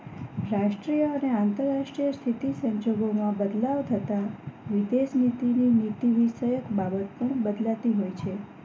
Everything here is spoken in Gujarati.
રાષ્ટ્રીય અને આંતરરાષ્ટ્રીય સ્થિતિ સંજોગોમાં બદલાવ થતા વિદેશનીતિ ની નીતિ કયેક બાબત પણ બદલાતી હોય છે